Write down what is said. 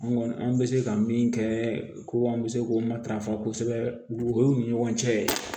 An kɔni an bɛ se ka min kɛ ko an bɛ se k'o matarafa kosɛbɛ dugu ni ɲɔgɔn cɛ